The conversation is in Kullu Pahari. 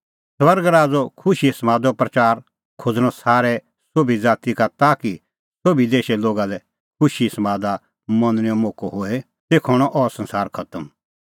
स्वर्ग राज़ो खुशीए समादो प्रच़ार खोज़णअ सारै संसारै सोभी ज़ाती का ताकि सोभी देशे लोगा लै खुशीए समादा मनणैंओ मोक्कअ होए तेखअ हणअ अह संसार खतम